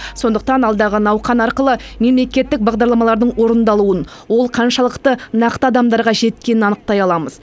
сондықтан алдағы науқан арқылы мемлекеттік бағдарламалардың орындалуын ол қаншалықты нақты адамдарға жеткенін анықтай аламыз